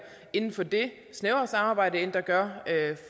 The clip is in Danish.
inden for det snævre samarbejde end der gør